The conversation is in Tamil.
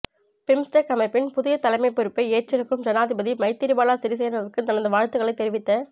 பிம்ஸ்டெக் அமைப்பின் புதிய தலைமை பொறுப்பை ஏற்றிருக்கும் ஜனாதிபதி மைத்திரிபால சிறிசேனவுக்கு தனது வாழ்த்துக்களை தெரிவித்த